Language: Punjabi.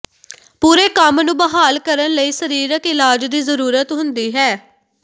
ਪੂਰੇ ਕੰਮ ਨੂੰ ਬਹਾਲ ਕਰਨ ਲਈ ਸਰੀਰਕ ਇਲਾਜ ਦੀ ਜ਼ਰੂਰਤ ਹੁੰਦੀ ਹੈ